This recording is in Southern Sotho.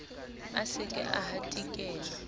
a se ke a hatikela